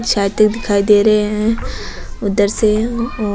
छाते दिखाई दे रहे है उधर से ओ --